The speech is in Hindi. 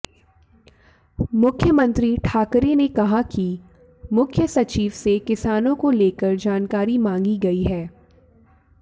मुख्यमंत्री ठाकरे ने कहा कि मुख्य सचिव से किसानों को लेकर जानकारी मांगी गई है